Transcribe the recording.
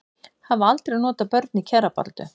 Hafa aldrei notað börn í kjarabaráttu